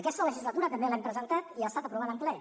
aquesta legislatura també l’hem presentat i ha estat aprovada en ple